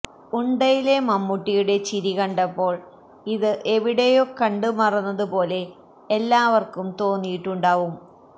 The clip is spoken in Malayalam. ഉണ്ടയിലെ മമ്മൂട്ടിയുടെ ചിരി കണ്ടപ്പോള് ഇത് എവിടെയോ കണ്ട് മറന്നത് പോലെ എല്ലാവര്ക്കും തോന്നിയിട്ടുണ്ടാവും